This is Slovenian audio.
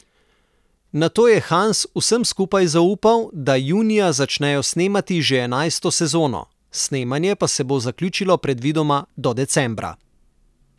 Nato je Hans vsem skupaj zaupal, da junija začnejo snemati že enajsto sezono, snemanje pa se bo zaključilo previdoma do decembra.